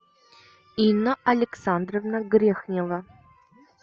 инна александровна грехнева